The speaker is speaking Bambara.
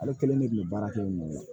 Ale kelen de kun bɛ baara kɛ yen nɔ